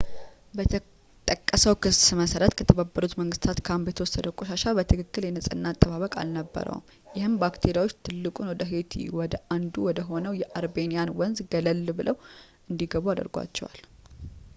በተጠቀሰው ክስ መሠረት ከተባበሩት መንግሥታት ካምፕ የተወሰደ ቆሻሻ በትክክል የንጽሕና አጠባበቅ አልነበረውም ይህም ባክቴሪያዎች ትልቁን ወደ ሄይቲ ወደ አንዱ ወ ደሆነው የአርቢኒየን ወንዝ ገለል ብለው እንዲገቡ አድርጓቸዋል